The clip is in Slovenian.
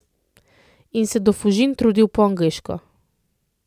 In se do Fužin trudil po angleško.